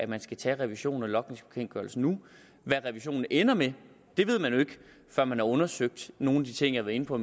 man skal tage revisionen af logningsbekendtgørelsen nu hvad revisionen ender med ved man jo ikke før man har undersøgt nogle af de ting jeg var inde på